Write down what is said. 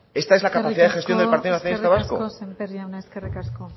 esta es la capacidad de gestión del partido nacionalista vasco eskerrik asko sémper jauna